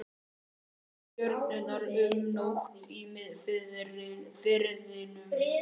Þrúði stjörnur um nótt í Firðinum.